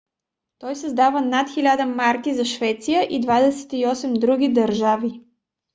той създава над 1000 марки за швеция и 28 други държави